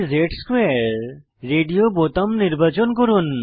dz2 radio বোতাম নির্বাচন করুন